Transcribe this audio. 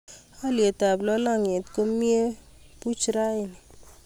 haliyet ab lalangyet ko mie puch raini